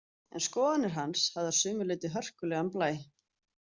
En skoðanir hans höfðu að sumu leyti hörkulegan blæ.